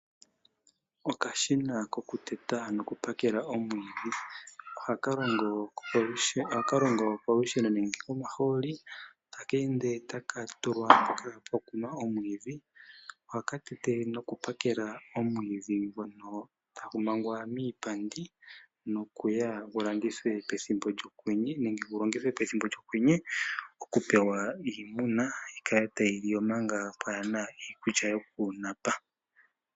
Okashina koku teta noku pakela omwiidhi. Ohaka longo kolusheno nenge komahooli, taka ende taka tulwa mpoka opo puna omwiidhi. Ohaka tete noku pakela omwiidhi ngono tagu mangwa miipandi, nokuya gu landithwe pethimbo lyokwenye, nenge gu longithwe pethimbo lyokwenye oku pewa iimuna yi kale tayi li manga pwaana iikulya yoku napa.